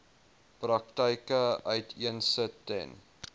praktyke uiteensit ten